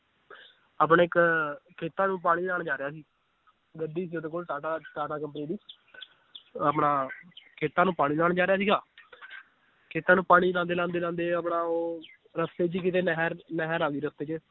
ਆਪਣੇ ਇਕ ਖੇਤਾਂ ਨੂੰ ਪਾਣੀ ਲਾਣ ਜਾ ਰਿਹਾ ਸੀ ਗੱਡੀ ਸੀ ਓਹਦੇ ਕੋਲ ਟਾਟਾ ਟਾਟਾ company ਦੀ ਆਪਣਾ ਖੇਤਾਂ ਨੂੰ ਪਾਣੀ ਲਾਉਣ ਜਾ ਰਿਹਾ ਸੀਗਾ ਖੇਤਾਂ ਨੂੰ ਪਾਣੀ ਲਾਉਂਦੇ ਲਾਉਂਦੇ ਲਾਉਂਦੇ ਆਪਣਾ ਉਹ ਰਸਤੇ ਚ ਹੀ ਕਿਤੇ ਨਹਿਰ ਨਹਿਰ ਆਉਂਦੀ ਰਸਤੇ 'ਚ